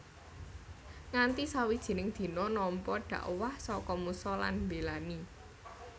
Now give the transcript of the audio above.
Nganti sawijining dina nampa dhakwah saka Musa lan mbélani